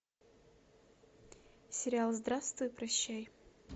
сериал здравствуй и прощай